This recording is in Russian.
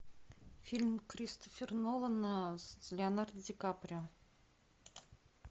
фильм кристофера нолана с леонардо ди каприо